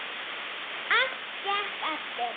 Allt gekk eftir.